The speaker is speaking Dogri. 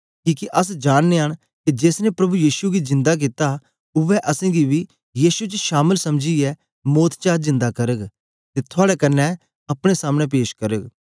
किके अस जाननयां न के जेस ने प्रभु यीशु गी जिन्दा कित्ता उवै असेंगी बी यीशु च शामल समझीयै मौत चा जिन्दा करग ते थुआड़े कन्ने अपने सामने पेश करग